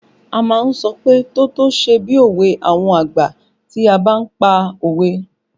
A má ń sọ pé "tótó ṣe bí òwe àwọn àgbà" tí a bá pa òwe